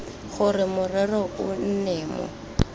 gore morero o nne mo